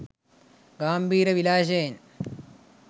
ගාම්භීර විලාශයෙන්